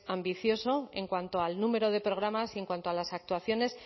ambicioso en cuanto al número de programas y en cuanto a las actuaciones